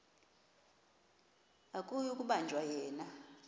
akuyi kubanjwa yena